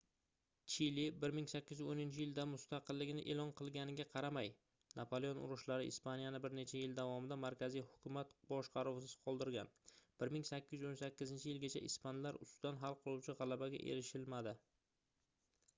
chili 1810-yilda mustaqilligini e'lon qilganiga qaramay napaleon urushlari ispaniyani bir necha yil davomida markaziy hukumat boshqaruvisiz qoldirilgan 1818-yilgacha ispanlar ustidan hal qiluvchi g'alabaga erishilmadi